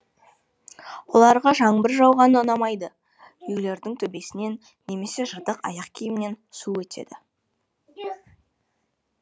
оларға жаңбыр жауғаны ұнамайды үйлерінің төбесінен немесе жыртық аяқ киімінен су өтеді